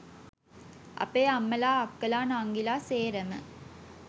අපේ අම්මලා අක්කලා නංගිලා සේරම